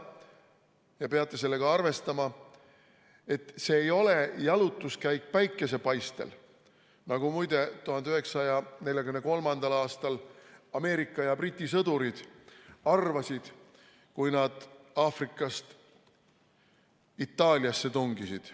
Te peate sellega arvestama, et see ei ole jalutuskäik päikesepaistel, nagu muide 1943. aastal Ameerika ja Briti sõdurid arvasid, kui nad Aafrikast Itaaliasse tungisid.